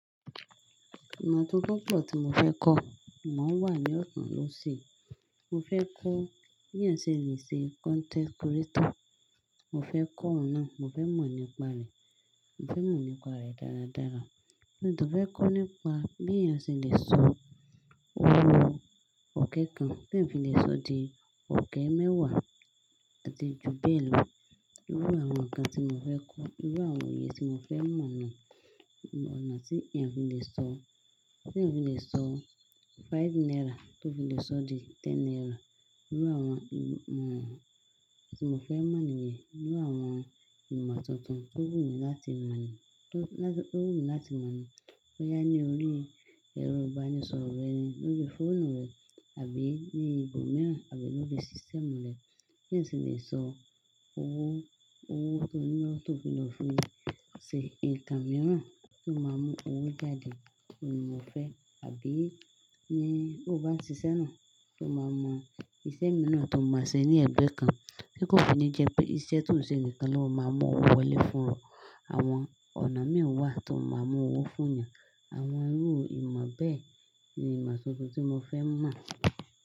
Ìmọ̀ tuntun pọ̀ tí mo fẹ́ kọ́, imo wà ní ọ̀tán lósi. Mo fẹ́ kọ́ bí ẹniyan selèṣe content creator. Mo fẹ́ kọ́ òun náà, mo fẹ́ mọ̀ nípa rẹ̀, mo fẹ́ mọ̀ nípa rẹ̀ dáradára. Mo sì fẹ́ kọ́ nípa bí ẹeyan selè sọ owó òkè kan tí ẹ fi lè sọ di òkè mẹ́wàá atí ju bẹ́ẹ̀ lọ. Irú àwọn nǹkan tí mo fẹ́ kọ́, irú àwọn òye tí mo fẹ́ mọ̀ ni, ọ̀nà tí ènìyàn fi lè sọ, tí ẹ fi lè sọ five naira tó fi lè sọ di ten naira. Irú àwọn ìmọ̀ tí mo fẹ́ mọ̀ níyẹn, irú àwọn ìmọ̀ tuntun tó wù mí láti mọ̀ ní, tó láti, tó wù mí láti mọ̀ ní boyá ní orí ẹro iba ní sọ rẹrin lójú fóònù rẹ àbí ní ibòmíràn àbí lójú sísitemu rẹ. Bí eeyan selè sọ owó, owó tó ní lọ́tò fún ẹ ṣe nǹkan mìíràn tó máa mú owó jáde ni mo fẹ́. Àbí ní bó bá ń ṣiṣẹ́ náà, kó máa mọ iṣẹ́ mìíràn tó máa ṣe ní ẹgbẹ́ kan. Tí kó fi ní jẹ pé iṣẹ́ tó ń ṣe nìkan ló máa mú owó wọlé fún ẹ. Àwọn ọ̀nà mii wàá tó máa mú owó fún ènìyàn. Àwọn irú ìmọ̀ bẹ́ẹ̀ ni ìmọ̀ tuntun tí mo fẹ́ mọ̀.